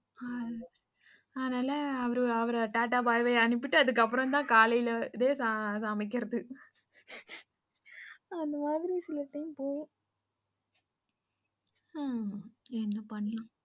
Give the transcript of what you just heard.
ஆனால அவர tata bye bye அனுப்பிட்டு அதுக்கப்புறம்தான் காலைல இதே சமைக்குறது அந்த மாரி சில time போகும் உம் என்ன பண்ண?